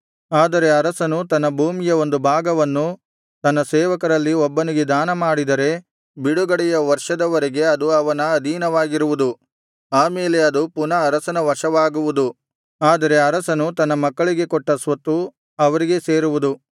ಆದರೆ ಅರಸನು ತನ್ನ ಭೂಮಿಯ ಒಂದು ಭಾಗವನ್ನು ತನ್ನ ಸೇವಕರಲ್ಲಿ ಒಬ್ಬನಿಗೆ ದಾನ ಮಾಡಿದರೆ ಬಿಡುಗಡೆಯ ವರ್ಷದವರೆಗೆ ಅದು ಅವನ ಅಧೀನವಾಗಿರುವುದು ಆ ಮೇಲೆ ಅದು ಪುನಃ ಅರಸನ ವಶವಾಗುವುದು ಆದರೆ ಅರಸನು ತನ್ನ ಮಕ್ಕಳಿಗೆ ಕೊಟ್ಟ ಸ್ವತ್ತು ಅವರಿಗೇ ಸೇರುವುದು